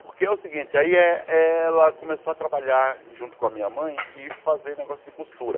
Porque é o seguinte, aí eh ela começou a trabalhar junto com a minha mãe e fazer negócio de costura.